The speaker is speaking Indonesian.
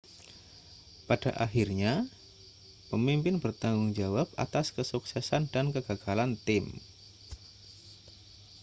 pada akhirnya pemimpin bertanggung jawab atas kesuksesan dan kegagalan tim